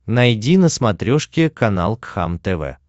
найди на смотрешке канал кхлм тв